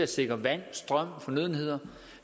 sikre vand strøm og fornødenheder